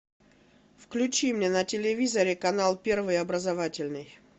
включи мне на телевизоре канал первый образовательный